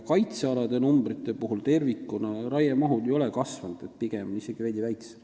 Kaitsealadel tervikuna ei ole raiemaht kasvanud, pigem on see isegi veidi väiksem.